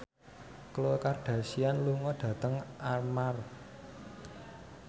Khloe Kardashian lunga dhateng Armargh